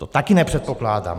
To taky nepředpokládám.